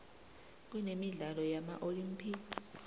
kunemidlalo yama olympics